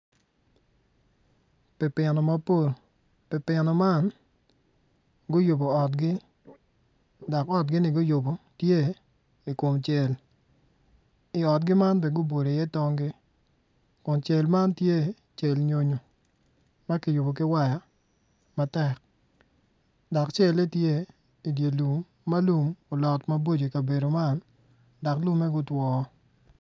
Pipino mapol pipino man guyubo otgi dok otgi ni guyubo tye ikom cel iotgi man bene gubolo i iye tongi kun cel man tye cel nyonyo ma kiyubo ki waya matek dok cele tye idye lum ma lum olot maboco ikabedo man dok lume gutwo